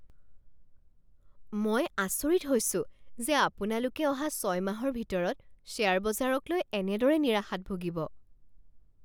মই আচৰিত হৈছোঁ যে আপোনালোকে অহা ছয় মাহৰ ভিতৰত শ্বেয়াৰ বজাৰক লৈ এনেদৰে নিৰাশাত ভুগিব।